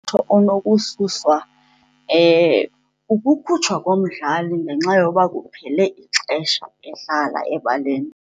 onokususwa, ukukhutshwa komdlali ngenxa yoba kuphele ixesha edlala ebaleni.